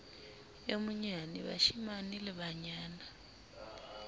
e monyane bashemane le banana